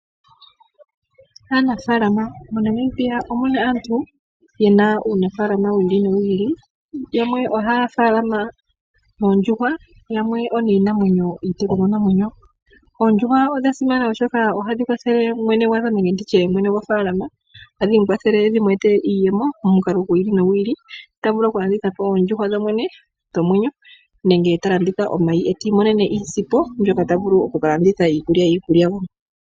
MoNamibia omuna aantu ye na uunafaalama wi ili nowi ili. Yamwe ohaya faalama oondjuhwa, yamwe iitekulwa namwenyo. Oondjuhwa odha simana oshoka ohadhi kwathele mwene gofaalama, hadhi mu kwathele dhimu etele iiyemo momukalo gwi ili nogu ili, ta vulu oku landithapo oondjuhwa dhodhene dhomwenyo nenge omayi ta imonene iisimpo a vule oku ka landa iikulya.